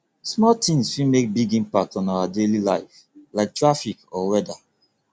small tings fit make big impact on our daily life like traffic or weather